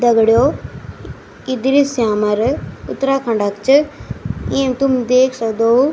दगडियों यी दृश्य हमार उत्तराखण्ड क च येम तुम देख सक्दों --